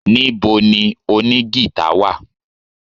Níbo ni oní gìtá wà?